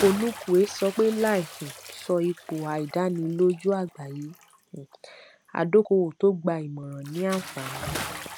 onukwue sọ pé láì um sọ ipò àìdánilójú àgbáyé um adókòówò tó gba ìmọràn ní àǹfààní